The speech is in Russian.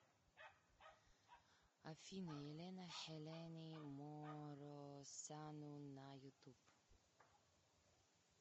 афина елена хелене моросану на ютуб